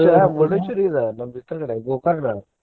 Famous ರಿ ಇದ ನಮ್ಮ ಇದರ ಕಡೆ Gokarna .